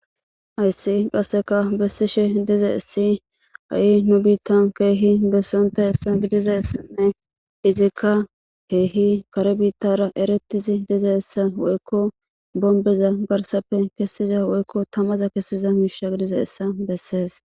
Haysi qaseka besishe dizaysi hay nu bitan kehi besonitaysan gidizaysanne izika kehi kare bitara eretizi dizaysa woyko bomibeza garsape kesiza woyko tamaza kesiza misha gidizaysa